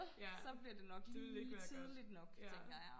så bliver det nok lige tidligt nok tænker jeg